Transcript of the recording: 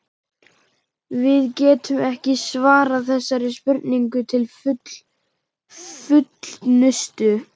Við getum ekki svarað þessari spurningu til fullnustu.